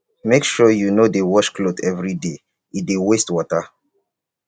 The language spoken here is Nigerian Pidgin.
make sure you no dey wash clothes everyday e dey waste water